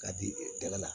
K'a di daba la